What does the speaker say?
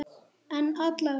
En alla vega.